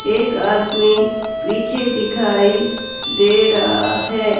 एक आदमी पीछे दिखाई दे रहा है।